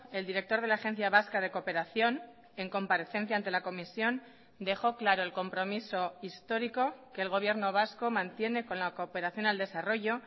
el director de la agencia vasca de cooperación en comparecencia ante la comisión dejó claro el compromiso histórico que el gobierno vasco mantiene con la cooperación al desarrollo